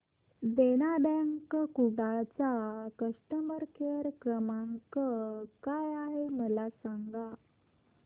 देना bank Kudal चा customer care क्रमांक काय आहे मला सांगा